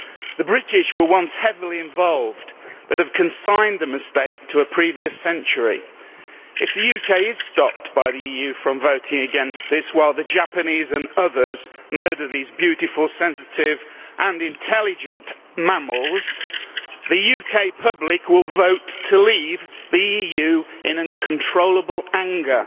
The British were once heavily involved but have consigned the mistake to a previous century. If the UK is stopped by the EU from voting against this, while the Japanese and others murder these beautiful, sensitive and intelligent mammals, the UK public will vote to leave the EU in uncontrollable anger.